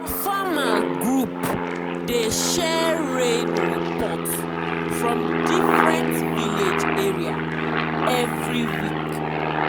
our farmers’ group dey share rain report from different village area every week.